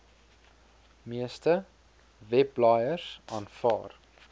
meeste webblaaiers aanvaar